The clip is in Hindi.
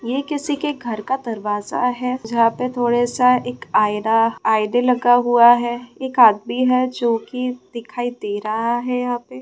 ये किसी के घर का दरवाज़ा है जहां पे थोड़े सा एक आएरा आईने लगा हुआ है एक आदमी है जो कि दिखाई दे रहा है यहाँ पे।